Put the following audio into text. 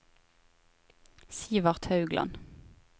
Sivert Haugland